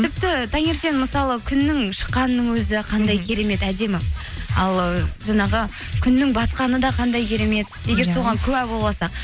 тіпті таңертең мысалы күннің шыққанының өзі қандай керемет әдемі ал ы жаңағы күннің батқаны да қандай керемет егер соған куә болыватсақ